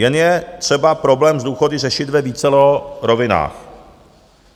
Jen je třeba problém s důchody řešit ve vícero rovinách.